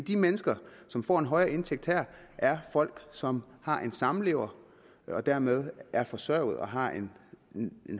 de mennesker som får en højere indtægt her er folk som har en samlever og dermed er forsørget og har en